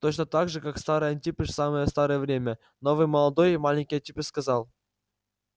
точно так же как старый антипыч в самое старое время новый молодой и маленький антипыч сказал